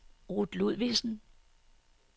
Ruth Ludvigsen